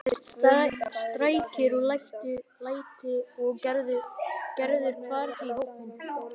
Það heyrðust skrækir og læti og Gerður hvarf í hópinn.